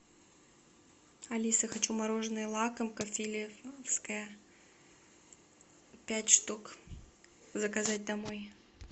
алиса хочу мороженое лакомка филевская пять штук заказать домой